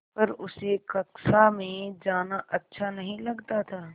पर उसे कक्षा में जाना अच्छा नहीं लगता था